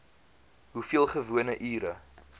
hoeveel gewone ure